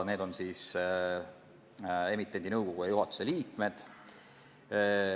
Need on siis emitendi nõukogu ja juhatuse liikmed.